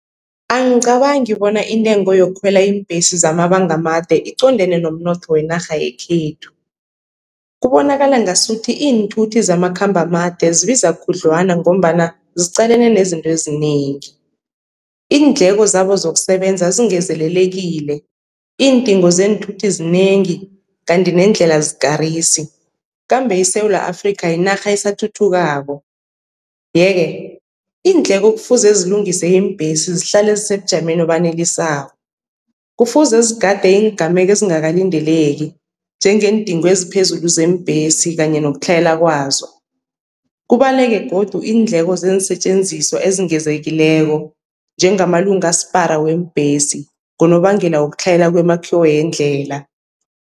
Angicabangi bona intengo yokukhwela iimbhesi zamabanga amade iqondene nomnotho wenarha yekhethu. Kubonakala ngasuthi iinthuthi zamakhambo amade zibiza khudlwana, ngombana ziqalene nezinto ezinengi. Iindleko zabo zokusebenza zingezelelekile, iindingo zeenthuthi zinengi kanti neendlela azikarisi. Kambe iSewula Afrika, yinarha esathuthukako ye-ke iindleko kufuze zilungise iimbhesi zihlale zisebujameni obanelisako, kufuze zigade iingameko ezingakalindeleki njengeendingo eziphezulu zeembhesi kanye nokutlhayela kwazo. Kubaleke godu iindleko zeensetjenziswa ezingezekileko njengamalunga asphara weembhesi ngonobangela wokutlhayela kwemakhiwo yendlela.